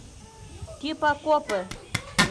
типа копы